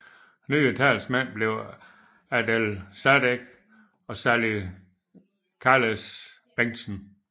Nye talsmænd blev Adel Sadek og Sally Khallash Bengtsen